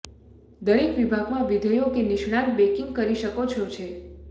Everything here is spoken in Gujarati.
દરેક વિભાગ માં વિધેયો કે નિષ્ણાત બેંકિંગ કરી શકો છો છે